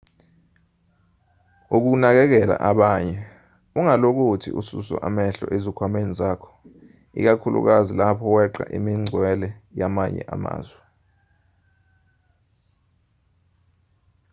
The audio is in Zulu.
ukunakekela abanye ungalokothi ususe amehlo ezikhwameni zakho ikakhulukazi lapho weqa imingcwele yamanye amazwe